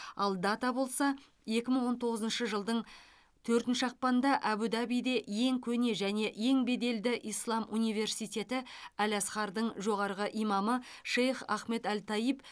ал дата болса екі мың он тоғызыншы жылдың төртінші ақпанында әбу дабиде ең көне және ең беделді ислам университеті әл асхардың жоғарғы имамы шейх ахмед әл тайиб